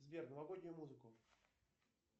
сбер новогоднюю музыку